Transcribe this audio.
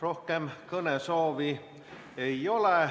Rohkem kõnesoovi ei ole.